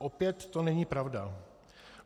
Opět to není pravda.